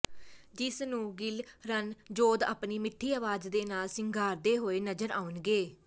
ਜਿਸ ਨੂੰ ਗਿੱਲ ਰਣਜੋਧ ਆਪਣੀ ਮਿੱਠੀ ਆਵਾਜ਼ ਦੇ ਨਾਲ ਸ਼ਿੰਗਾਰਦੇ ਹੋਏ ਨਜ਼ਰ ਆਉਣਗੇ